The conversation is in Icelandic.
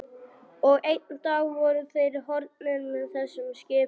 Og einn dag voru þeir horfnir með þessum skipum.